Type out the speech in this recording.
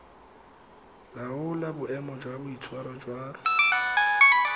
laola boemo jwa boitshwaro jwa